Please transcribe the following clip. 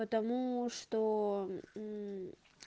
потому что